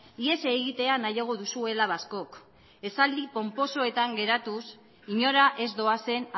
ihes egitea nahiago duzuela askok esaldi ponposoetan geratuz inora ez doazen